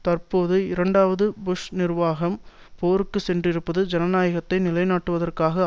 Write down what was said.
தற்போது இரண்டாவது புஷ் நிர்வாகம் போருக்கு சென்றிருப்பது ஜனநாயகத்தை நிலைநாட்டுவதற்காக